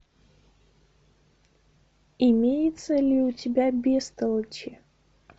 имеется ли у тебя бестолочи